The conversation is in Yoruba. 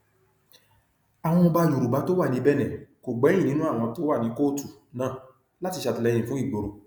àwọn ọba yorùbá tó wà ní benin kò gbẹyìn nínú àwọn tó wà ní kóòtù náà láti ṣàtìlẹyìn fún ìgboro